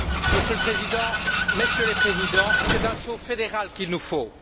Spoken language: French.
Monsieur le Président, Messieurs les Présidents, c'est un saut fédéral qu'il nous faut.